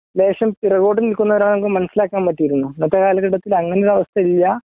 ലേശം പിറകോട്ടുനില്ക്കുന്ന ഒരാളാണെങ്കില് മനസ്സിലാക്കാൻ പറ്റിയിരുന്നു ഇന്നത്തെ കാലഘട്ടത്തില് അങ്ങനെ ഒരു അവസ്ഥയില്ല